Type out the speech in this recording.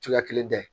Cogoya kelen da ye